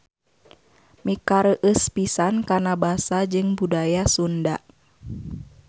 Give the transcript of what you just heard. Mikareueus pisan kana Basa jeung Budaya Sunda.